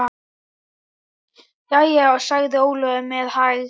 Jæja, sagði Ólafur með hægð.